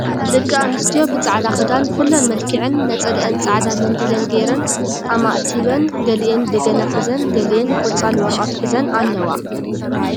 ደቂ ኣንስትዮ ብፃዕዳ ክዳን ኩለን መልኪዐን ነፀለአን ፃዕዳ መንዲለን ገይረን ኣማእቲበን ገሊአን በገና ሒዘን ገሊአን ቆፃል ወረቀት ሒዘን ኣለዋ ።